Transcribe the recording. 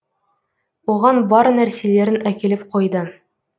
оған бар нәрселерін әкеліп қойды